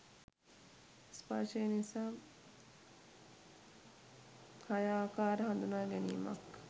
ස්පර්ශය නිසා හය ආකාර හඳුනාගැනීමක්